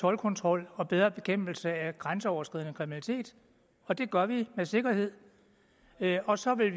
toldkontrol og bedre bekæmpelse af grænseoverskridende kriminalitet og det gør vi med sikkerhed og så vil